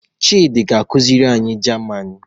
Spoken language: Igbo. Chidi ga-akuziri anyi Jaman.